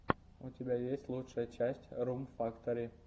у тебя есть лучшая часть рум фактори